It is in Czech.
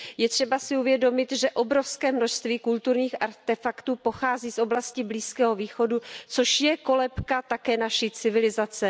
Je třeba si uvědomit, že obrovské množství kulturních artefaktů pochází z oblasti Blízkého východu, což je kolébka také naší civilizace.